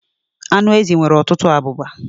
Anụ ezi nwere ọtụtụ abụba.